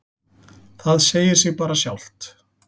Það segir sig bara sjálft.